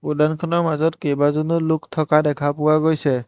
উদ্যানখনৰ মাজত কেইবাজনো লোক থকা দেখা পোৱা গৈছে।